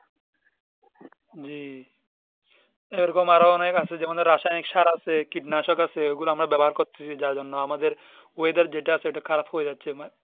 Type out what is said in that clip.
জি এই রকম আরো অনেক আছে যে আমাদের রায়ানিক সার আছে কিনাশক আছে ওগুলো আমরা ব্যবহার করতেছি যার জন্য আমাদের oyedar যেটা আছে ওটা খারাপ হয়ে যাচ্ছে মানে